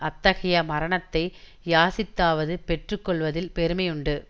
அத்தகைய மரணத்தை யாசித்தாவது பெற்று கொள்வதில் பெருமை உண்டு